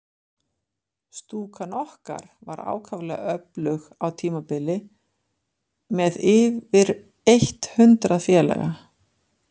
Stúkan okkar var ákaflega öflug á tímabili, með yfir eitt hundrað félaga.